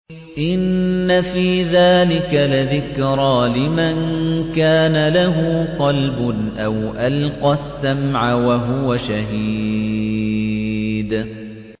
إِنَّ فِي ذَٰلِكَ لَذِكْرَىٰ لِمَن كَانَ لَهُ قَلْبٌ أَوْ أَلْقَى السَّمْعَ وَهُوَ شَهِيدٌ